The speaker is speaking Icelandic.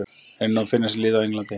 Reynir nú að finna sér lið á Englandi.